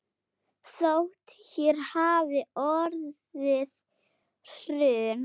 Þótt hér hafi orðið hrun.